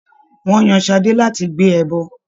Ṣadé was chosen to carry the sacrifice.